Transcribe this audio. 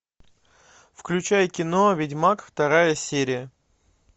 включай кино ведьмак вторая серия